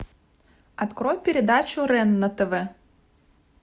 открой передачу рен на тв